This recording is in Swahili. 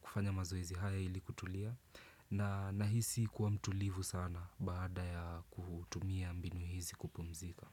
kufanya mazoezi haya ili kutulia na nahisi kuwa mtulivu sana baada ya kutumia mbinu hizi kupumzika.